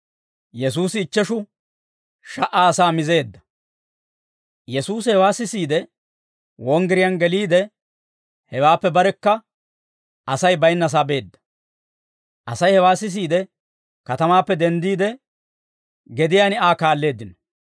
Yesuusi hewaa sisiide, wonggiriyaan geliide, hewaappe barekka Asay baynnasaa beedda; Asay hewaa sisiide, katamaappe denddiide, gediyaan Aa kaalleeddino.